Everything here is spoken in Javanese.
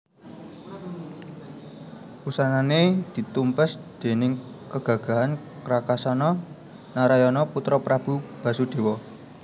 Wusanané ditumpes déning kagagahan Krakasana Narayana putra Prabu Basudéwa